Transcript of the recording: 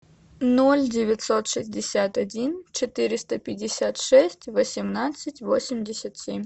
ноль девятьсот шестьдесят один четыреста пятьдесят шесть восемнадцать восемьдесят семь